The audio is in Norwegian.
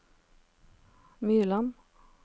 Myrland